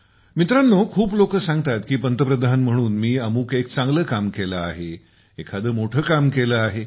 मित्रांनो खूप लोकं सांगतात की पंतप्रधान म्हणून मी अमुक एक चांगले काम केले आहे एखादे मोठे काम केले आहे